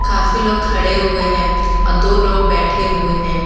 काफी लोग खड़े हुए हैं और दो लोग बैठे हुए हैं।